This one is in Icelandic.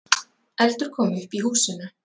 Eldur kom upp í húsinu